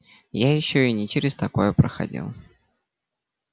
я ещё и не через такое проходил